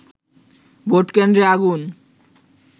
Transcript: ভোটকেন্দ্রে আগুন